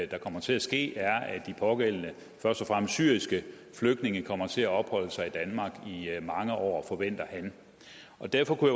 der kommer til at ske er at de pågældende først og fremmest syriske flygtninge kommer til at opholde sig i danmark i mange år forventer han derfor kunne